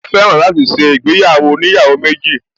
Ó fẹ́ràn láti ṣe ìgbéyàwó oníyàwó méjì